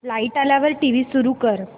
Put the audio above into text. light आल्यावर TV सुरू कर